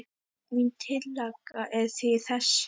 Mín tillaga er því þessi